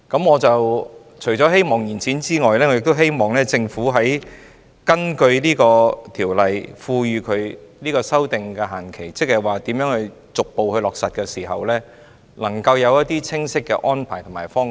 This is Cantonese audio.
我除了希望延展修訂期限外，亦希望政府根據條例賦予修訂限期，就如何逐步落實提供清晰的安排及方向。